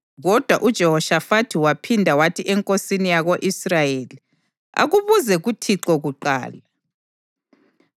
Kodwa uJehoshafathi waphinda wathi enkosini yako-Israyeli, “Akubuze kuThixo kuqala.”